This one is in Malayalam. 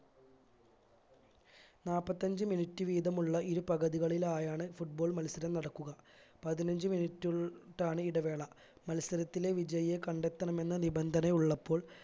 നാപ്പത്തഞ്ച്‌ minute വീതമുള്ള ഇരു പകുതികളിലായാണ് football മത്സരം നടക്കുക പതിനഞ്ച്‌ minute ഉൾ ട്ടാണ് ഇടവേള മത്സരത്തിലെ വിജയിയെ കണ്ടെത്തണമെന്ന നിബന്ധനയുള്ളപ്പോൾ